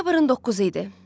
Noyabrın 9-u idi.